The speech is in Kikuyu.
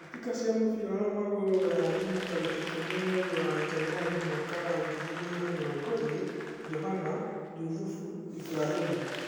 Mbĩtĩka cia mũbira wa magũrũ Ruraya Jumaa tarĩki ikũmi mweri wa Njanũari waka wa ngiri igĩrĩ na mĩrongo ĩrĩ: Johana, Juthufu, Iburahĩmu